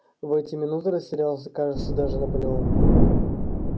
в эти минуты растерялся кажется даже наполеон